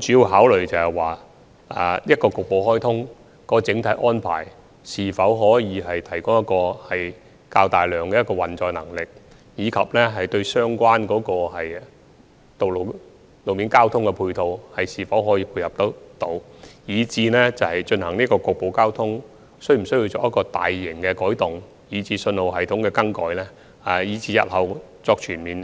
主要考慮的問題，是局部開通的整體安排可否提供較大的運載能力，而相關的路面交通配套又可否配合得到，以至進行局部開通是否需要作出大型的改動，包括更改信號系統，而且在日後全面